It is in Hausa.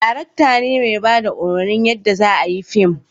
darakta ne mai bada umarnin yanda za a yi fim